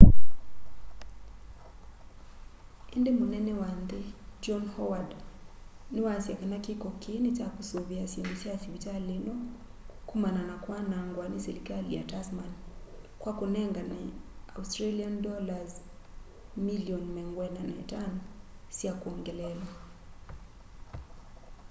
indi mũnene wa nthi john howard ni waasya kana kiko kii ni cha kusũvia syindũ sya sivitali ino kũmana na kwanangwa ni selikali ya tasman kwa kũnengane aud$ milioni 45 sya kwongeleela